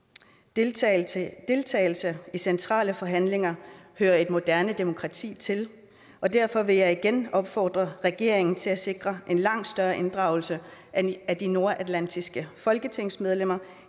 deltagelse i centrale forhandlinger hører et moderne demokrati til og derfor vil jeg igen opfordre regeringen til at sikre en langt større inddragelse af de nordatlantiske folketingsmedlemmer